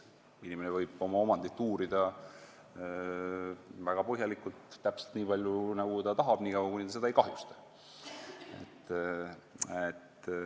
Inimene võib oma omandit uurida väga põhjalikult, täpselt nii palju, nagu ta tahab, niikaua kuni ta seda ei kahjusta.